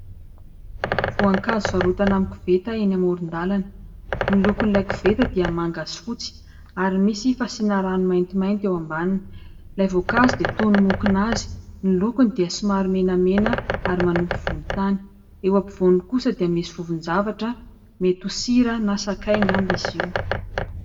Voankazo varotana amin'ny koveta eny amoron-dalana. Ny lokon'ilay koveta dia manga sy fotsy ary misy fasiana rano maintimainty eo ambaniny. Ilay voankazo dia toy ny mokonazy. Ny lokony dia somary menamena, ary manopy volontany. Eo afovoany kosa dia misy vovon-javatra, mety ho sira na sakay angamba izy io.